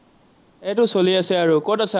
এইটো চলি আছে আৰু। ক'ত আছ?